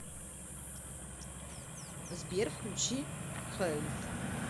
сбер включи халид